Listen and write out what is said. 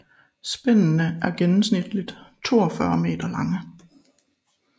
Spændene er gennemsnitligt 42 meter lange